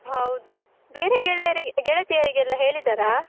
ಹೌದು, ಬೇರೆ ಗೆಳೆಯರಿಗೆ ಗೆಳತಿಯರಿಗೆಲ್ಲ ಹೇಳಿದ್ದಾರಾ?